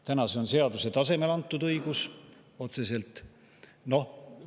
Täna on see otseselt seaduse tasemel antud õigus.